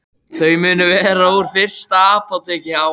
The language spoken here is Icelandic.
Þau munu vera úr fyrsta apóteki á